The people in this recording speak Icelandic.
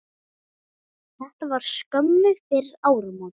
Þetta var skömmu fyrir áramót.